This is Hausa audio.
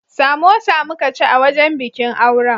Samosa muka ci a wajen bikin auren.